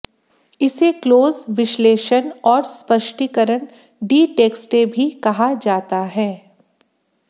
इसे क्लोज़ विश्लेषण और स्पष्टीकरण डी टेक्सटे भी कहा जाता है